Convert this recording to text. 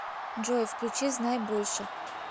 джой включи знай больше